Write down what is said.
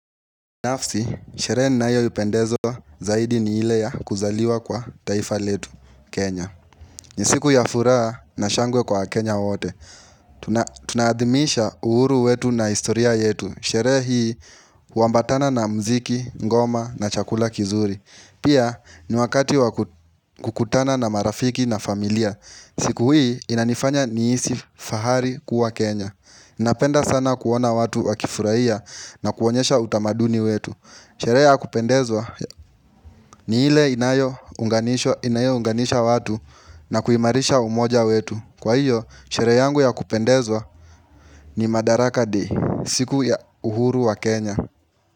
Nafsi, sherehe ninayoipendezwa zaidi ni ile ya kuzaliwa kwa taifa letu, Kenya. Ni siku ya furaha na shangwe kwa WaKenya wote. Tunaadhimisha uhuru wetu na historia yetu. Sherehe hii, huambatana na muziki, ngoma na chakula kizuri. Pia, ni wakati wa kukutana na marafiki na familia. Siku hii, inanifanya nihisi fahari kuwa Kenya. Napenda sana kuona watu wakifurahia na kuonyesha utamaduni wetu. Sherehe ya kupendezwa ni ile inayo hunganisha watu na kuimarisha umoja wetu. Kwa hiyo, sherehe yangu ya kupendezwa ni madaraka day siku ya uhuru wa Kenya.